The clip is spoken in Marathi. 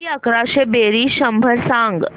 किती अकराशे बेरीज शंभर सांग